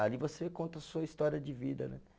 Ali você conta a sua história de vida, né?